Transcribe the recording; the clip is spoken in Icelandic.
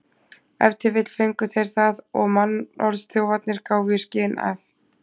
Ef til vill fengu þeir það og mannorðsþjófarnir gáfu í skyn að